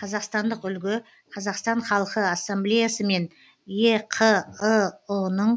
қазақстандық үлгі қазақстан халқы ассамблеясы мен еқыұ ның